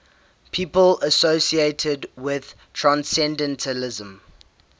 people associated with transcendentalism